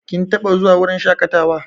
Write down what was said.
Kin taɓa zuwa wurin shaƙatawa?